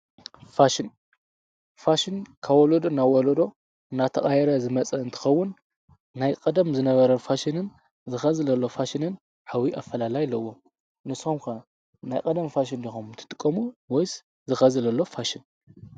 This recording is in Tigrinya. ፋሽን፣ ፋሽን ካብ ወሎዶ ናብ ውሎዶ እናተቓይረ ዝመጸ እንትኸውን ናይ ቀደም ዝነበረን ፋሽንን እዚ ሕዚ ዘሎ ፋሽን ኣብይ ኣፈላላይ ኣለዎ። ንስም ከ ናይ ቀደም ፋሽን ዲኹም ትጥቀሙ ወይስ እዚ ሕዚ ዘሎ ፋሽን?